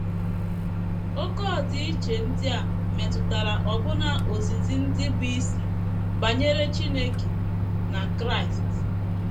“ Oké ọdịiche ” ndị a metụtara ọbụna ozizi ndị bụ́ isi banyere Chineke na Kraịst.